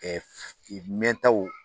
mɛn taw